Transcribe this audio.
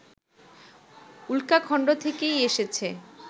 উল্কাখন্ড থেকেই এসেছে